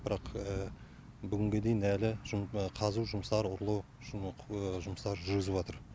бірақ бүгінге дейін әлі қазу жұмыстары ұрлық жұмыстары жүргізіватыр